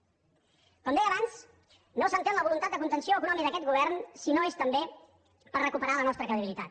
com deia abans no s’entén la voluntat de contenció econòmica d’aquest govern si no és també per recuperar la nostra credibilitat